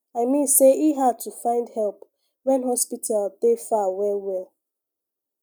i mean say e hard to find help when hospital dey far well well